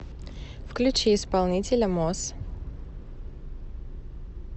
включи исполнителя мосс